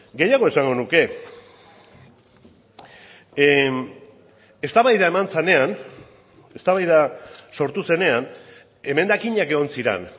gehiago esango nuke eztabaida eman zenean eztabaida sortu zenean emendakinak egon ziren